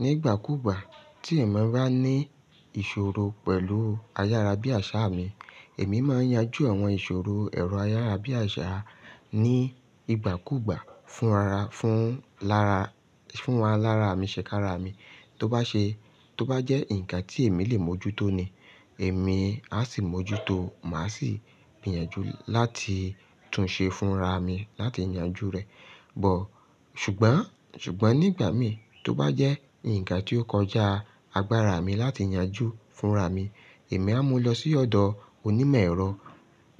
Ní ìgbàkúgbà tí èmi bá ní ìṣòro pẹ̀lú ayárá bí àṣá mi, èmi máa yanjú àwọn ìṣòro ẹ̀rọ ayárá bí àṣá ní ìgbàkúgbà fún ara, fún lára, fún ara lára mi, ṣèkára mi. Tó bá ṣe, tó bá jẹ́ ǹkan tí èmi lè mójútó ni, èmi á sì mójútó, màá sì gbìyànjú láti tún ṣe fúnra mi láti yanjú rẹ̀. Ò, ṣùgbọ́n, ṣùgbọ́n nígbà mi tó bá jẹ́ ǹkan tí ó kọjá agbára mi láti yanjú fúnra mi, èmi á mú lọ sí ọ̀dọ̀ onímọ̀ ẹ̀rọ,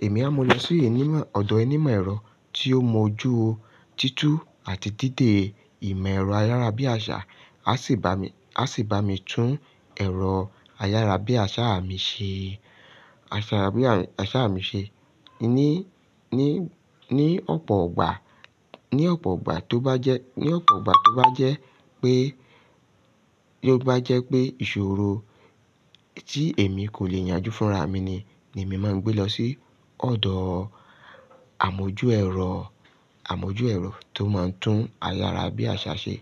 èmi á mú lọ sí onímọ̀, ọ̀dọ̀ onímọ̀ ẹ̀rọ tí ó mọ̀ ojú títú àti dídè ìmọ̀ ẹ̀rọ ayárá bí àṣá, á sì bá mi, á sì bá mi tún ẹ̀rọ ayárá bí àṣá mi ṣe, àṣá mi, àṣá mi ṣe. Ní, ní, ní ọ̀pọ̀ igbà, ní ọ̀pọ̀ igbà tó bá jẹ́, ní ọ̀pọ̀ igbà tó bá jẹ́ pé, tó bá jẹ́ pé ìṣòro tí èmi kò lè yanjú fúnra mi ni, ni èmi máa gbé lọ sí ọ̀dọ̀ àmójú ẹ̀rọ, àmójú ẹ̀rọ tó máa ń tún ayárá bí àṣá ṣe.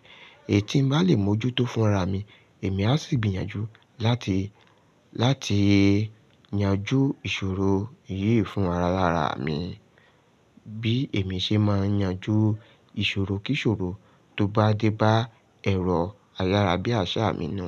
Èyí tí ń bá lè mójútó fúnra mi, èmi á sì gbìyànjú láti, láti yanjú ìṣòro yìí fún ara lára mi. Bí èmi ṣe máa yanjú ìṣòro kí ìṣòro tó bá dé bá ẹ̀rọ ayárá bí àṣá mi nù.